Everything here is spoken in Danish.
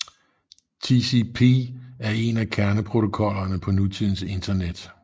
TCP er en af kerneprotokollerne på nutidens Internet